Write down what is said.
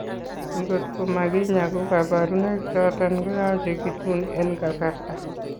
ingot ko makinyaa ko kabarunaik choton koyache gitun en kasarta